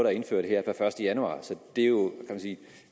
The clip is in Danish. er indført her per første januar